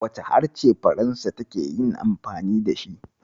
Wane harshe Faransa take amfani da shi?